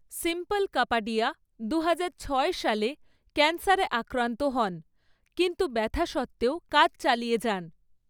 Simple Kapadia দুহাজার ছয় সালে ক্যান্সারে আক্রান্ত হন, কিন্তু ব্যথা সত্ত্বেও কাজ চালিয়ে যান।